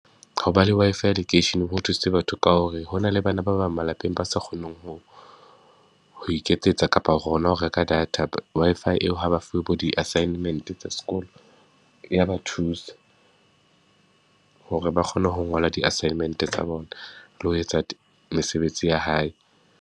Ho ba le Wi-Fi lekeisheneng ho thusitse batho ka hore ho na le bana ba bang malapeng ba sa kgoneng ho, ho iketsetsa kapa hona ho reka data. Wi-Fi eo ha ba fuwe bo di-assignment tsa sekolo, e ya ba thusa hore ba kgone ho ngola di-assignment-e tsa bona le ho etsa mesebetsi ya hae.